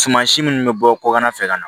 Suman si minnu bɛ bɔ kɔkan na fɛ ka na